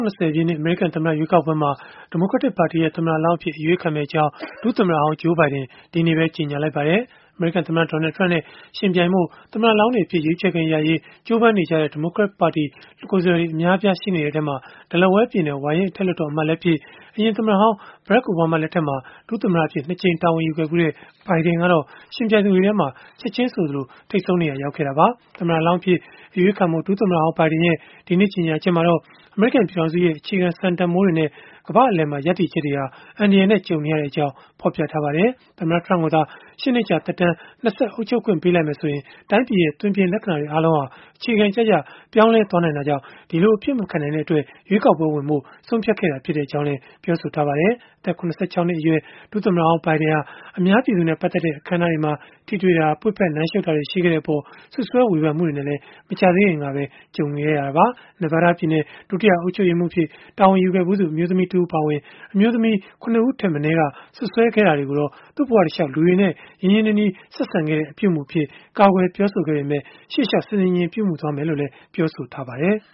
နှစ် အမေရိကန်သမ္မတ ရွေးကောက်ပွဲမှာ ဒီမိုကရက်တစ်ပါတီရဲ့ သမ္မတလောင်းအဖြစ် အရွေးခံမယ့်အကြောင်း ဒုသမ္မတဟောင်း Joe Biden က ဒီနေ့ပဲ ကြေညာလိုက်ပါတယ်။ အမေရိကန်သမ္မတ Donald Trump နဲ့ ယှဉ်ပြိုင်ဖို့ သမ္မတလောင်းအဖြစ် ရွေးချယ်ခွင့်ရရေး ကြိုးပမ်းနေကြတဲ့ ဒီမိုကရက်ပါတီ ကိုယ်စားလှယ်တွေ အများအပြား ရှိနေတဲ့အထဲမှာ Delaware ပြည်နယ် ဝါရင့်အထက်လွှတ်တော်အမတ်လည်းဖြစ် အရင်သမ္မတဟောင်း Barack Obama လက်ထက်မှာ ဒုသမ္မတအဖြစ် ၂ ကြိမ် တာဝန်ယူခဲ့ဖူးတဲ့ Biden ကတော့ ယှဉ်ပြိုင်သူတွေထဲမှာ ချက်ချင်းဆိုသလို ထိပ်ဆုံးနေရာ ရောက်ခဲ့တာပါ။ သမ္မတလောင်းအဖြစ် အရွေးခံဖို့ ဒုသမ္မတဟောင်း Biden ရဲ့ ဒီကနေ့ ကြေညာချက်ထဲမှာတော့ အမေရိကန် ပြည်ထောင်စုရဲ့ အခြေခံစံတန်ဘိုးတွေနဲ့ ကမ္ဘာ့အလယ်မှာ ရပ်တည်ချက်တွေဟာ အန္တရာယ်နဲ့ ကြုံနေရကြောင်း ဖော်ပြထားပါတယ်။ သမ္မတ Trump ကိုသာ ၈ နှစ်ကြာ သက်တမ်း ၂ ဆက် အုပ်ချုပ်ခွင့် ပေးလိုက်မယ်ဆိုရင် တိုင်းပြည်ရဲ့ သွင်ပြင်လက္ခဏာတွေ အားလုံးဟာ အခြေခံကျကျ ပြောင်းလဲ သွားနိုင်တာကြောင့်၊ ဒီလိုအဖြစ်မခံနိုင်တဲ့အတွက် ရွေးကောက်ပွဲမှာ ဝင်ပြိုင်ဖို့ ဆုံးဖြတ်ခဲ့တာ ဖြစ်ကြောင်းလည်း ပြောဆိုခဲ့ပါတယ်။ အသက် ၇၆ နှစ်အရွယ် ဒုသမ္မတဟောင်း Biden ဟာ အများပြည်သူနဲ့ ပတ်သက်တဲ့ အခန်းအနားတွေမှာ ထိတွေ့တာ၊ ပွေ့ဖက်နမ်းရှုတ်တာတွေ ရှိခဲ့တဲ့အပေါ် စွပ်စွဲ ဝေဖန်မှုတွေ နဲ့လည်း မကြာသေးခင်ကပဲ ကြုံခဲ့ရတာပါ။ Nevada ပြည်နယ် ဒုတိယအုပ်ချုပ်ရေးမှူးအဖြစ် တာဝန်ယူခဲ့ဖူးသူ အမျိုးသမီးတဦးအပါအဝင် အမျိုးသမီး ၇ ဦးထက် မနည်းက စွပ်စွဲခဲ့တာတွေကိုတော့ သူ့ဘဝတလျှောက် လူတွေနဲ့ ရင်းရင်းနှီးနှီး ဆက်ဆံတဲ့ အပြုအမူအဖြစ် ကာကွယ်ပြောဆိုခဲ့ပေမဲ့ ရှေ့လျောက်ဆင်ဆင်ခြင်ခြင် ပြုမူဖို့လည်း ပြောဆိုထားပါတယ်။